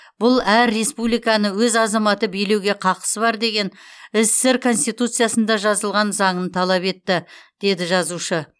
бұл әр республиканы өз азаматы билеуге қақысы бар деген ссср конституциясында жазылған заңын талап етті деді жазушы